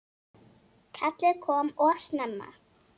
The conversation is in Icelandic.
Kallið kom of snemma.